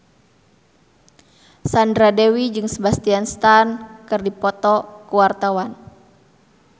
Sandra Dewi jeung Sebastian Stan keur dipoto ku wartawan